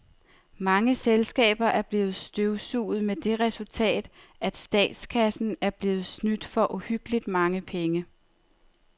Mange selskaber er blevet støvsuget med det resultat, at statskassen er blevet snydt for uhyggeligt mange penge.